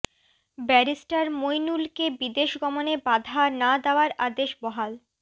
barrister মইনুলকে বিদেশ গমনে বাধা না দেওয়ার আদেশ বহাল